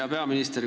Hea peaminister!